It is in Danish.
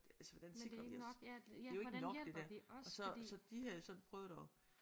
Altså hvordan sikrer vi os det er jo ikke nok det der og så så de havde sådan prøvet at